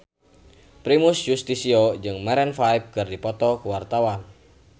Primus Yustisio jeung Maroon 5 keur dipoto ku wartawan